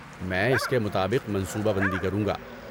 میں اس کے مطابق منصوبہ بندی کروں گا۔